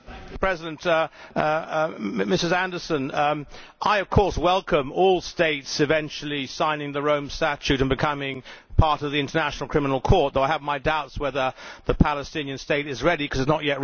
Ms Anderson, I of course welcome all states eventually signing the Rome Statute and becoming part of the International Criminal Court, although I have my doubts whether the Palestinian State is ready, because it is not yet recognised as a state internationally.